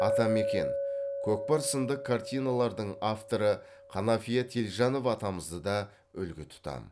атамекен көкпар сынды картиналардың авторы қанафия телжанов атамызды да үлгі тұтам